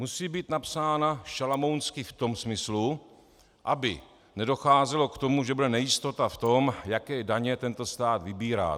Musí být napsána šalamounsky v tom smyslu, aby nedocházelo k tomu, že bude nejistota v tom, jaké daně tento stát vybírá.